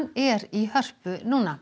er í Hörpu